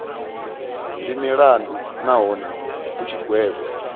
ndi mulandu nahone hu tshigwevho